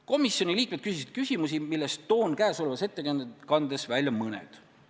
Komisjoni liikmed küsisid küsimusi, millest toon käesolevas ettekandes välja mõned.